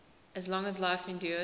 as long as life endures